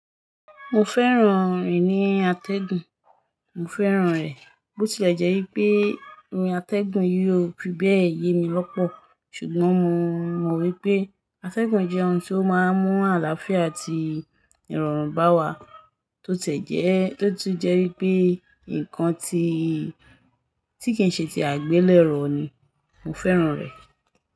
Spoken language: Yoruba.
Mo fẹ́ràn eni Atẹ́gùn, mo fẹ́ràn rẹ̀. Bó ti lẹ̀ jẹ́ wipé irun Atẹ́gùn yi ò fi bẹ́ẹ̀ yé mi lọ́pọ̀. Ṣùgbọ́n mo mọ̀ wípé Atẹ́gùn jẹ́ oun tíó máa ń mú àlàáfíà àti ìrọ̀rùn bá wa. Tó tie jẹ́, to tun je wípé nǹkan tí, tí kì n ṣe tie àgbélẹ̀ro ni, mo fẹ́ràn rẹ̀.